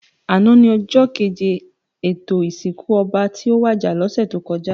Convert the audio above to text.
Àná ni òjò kéjé étó isinkú òbá tó wàjá lòsè tókòjá